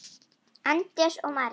Andrés og María.